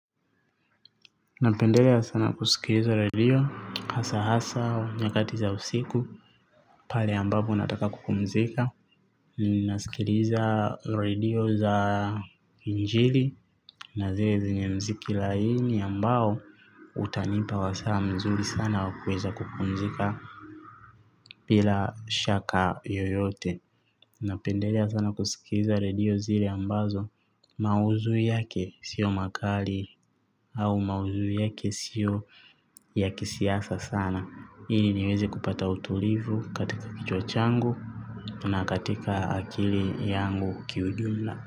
Napendelea sana kusikiliza radio, hasa hasa, nyakati za usiku, pale ambapo nataka kupumzika. Ninasikiliza radio za injili na zile zenye mziki laini ambao utanipa wa saa mzuri sana wa kuweza kupumzika bila shaka yoyote. Napendelea sana kusikiliza radio zile ambazo maudhui yake sio makali au madhui yake sio ya kisiasa sana. Ili niweze kupata utulivu katika kichwa changu na katika akili yangu kiujumla.